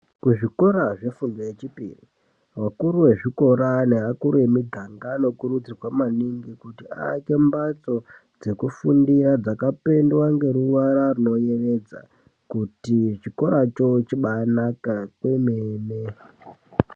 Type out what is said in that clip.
Kuzvikora zvefundo yechipiri vakuru vezvikora nevakuru vemiganga vanokurudzirwa maningi kuti vaake mbatso dzekufundira dzakapendwa ngeruvara rinoyevedza kuti chikora cho chibaanaka kwemene.